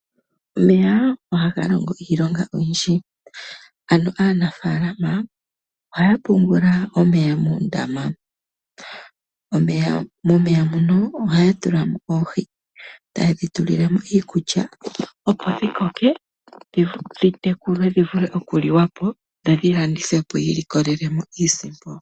Omeya ohaga longo iilonga oyindji aanafaalama ohaya pungula omeya moondama. Momeya ohaya tula mo oohi tayedhi tulile mo iikulya opo dhikoke dhitekulwe dhi vule okuliwa po dho dhilandithwepo yi imonene mo iisimpo.